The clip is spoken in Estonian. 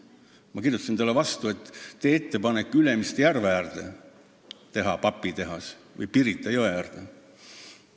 Ma kirjutasin talle vastu, et tee ettepanek Ülemiste järve äärde või Pirita jõe äärde papitehas ehitada.